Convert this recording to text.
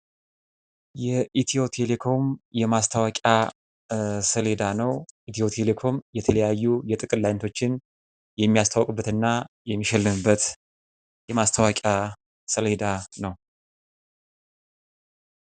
የኢትዮ ቴሌኮም የማስታወቂያ ሰሌዳ ነው። ኢትዮ ቴሌኮም የተለያዩ የጥቅል አይነቶችን የሚያስተዋቅበት እና የሚሸልምበት የማስታወቂያ ሰሌዳ ነው።